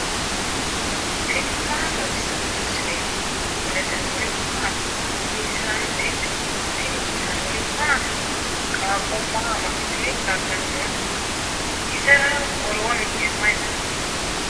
tini maa xawissanno misileeti ? mulese noori maati ? hiissinannite ise ? tini kultannori mattiya? qaaqo maa amaxiitte daganni nootte? isera woroonni hige mayi nooya?